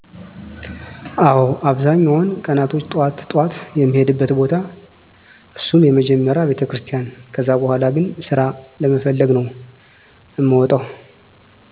አወ አብዛኛዉን ቀናቶች ጠዋት ጠዋት የሚሄድበት ቦታ እሱም መጀመሪያ ቤተክርስቲያን ከዛ በሁላ ግን ስራ ለመፈለግ ነዉ እምወጣዉ።